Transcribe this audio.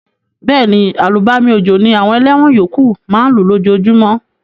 Béèni, àlùbami òjò ni àwon eléwon yókù ma n lú lójojúmó